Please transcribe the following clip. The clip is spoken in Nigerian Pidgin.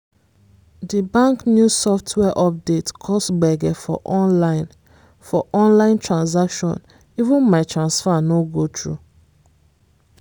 di bank new software update cause gbege for online for online transaction — even my transfer no go through.